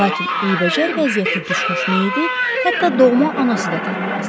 Lakin eybəcər vəziyyətdə düşmüş meyidi hətta doğma anası da tanımazdı.